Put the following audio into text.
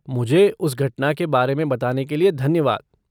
मुझे उस घटना के बारे में बताने के लिए धन्यवाद।